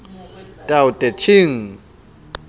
tao te ching